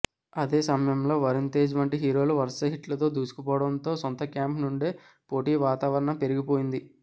అదే సమయంలో వరుణ్ తేజ్ వంటి హీరోలు వరస హిట్లతో దూసుకుపోవడంతో సొంత క్యాంప్ నుండే పోటీ వాతావరణం పెరిగిపోయింది